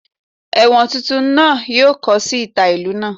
Ewọn tuntun naa yoo kọ si ita ilu naa.